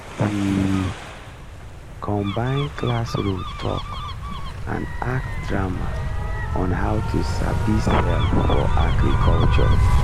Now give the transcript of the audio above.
we combine classroom talk and act drama on how to sabi sell for agriculture